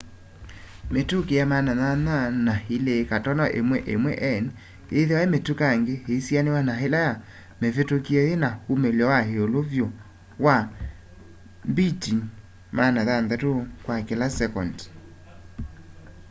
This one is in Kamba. mĩtũkĩ ya 802.11n ĩthĩwa mĩtũkangĩ ĩisianĩw'a na ĩla ya mĩvĩtũkie yĩna umĩlyo wa ĩũlũ vyũ wa 600mbit kwa kĩla sekendi